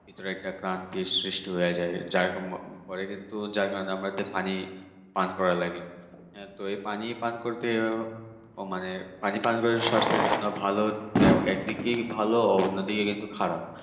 ভেতরে একটা কারণ কি সৃষ্টি হয়ে যায় যার ফলে কিন্তু কারণ আমাদের পানি পান করা লাগে। হ্যাঁ তো এই পানি পান করতেও ও মানে পানি পান করতে শরীর স্বাস্থ্যের জন্য ভালো। তো এই একদিকে ভালো আবার অন্যদিকে খারাপ